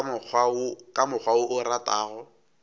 ka mokgwa wo o ratago